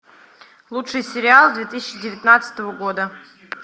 лучший сериал две тысячи девятнадцатого года